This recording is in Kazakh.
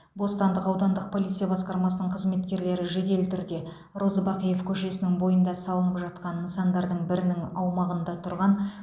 бостандық аудандық полиция басқармасының қызметкерлері жедел түрде розыбакиев көшесінің бойында салынып жатқан нысандардың бірінің аумағында тұрған